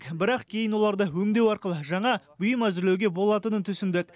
бірақ кейін оларды өңдеу арқылы жаңа бұйым әзірлеуге болатынын түсіндік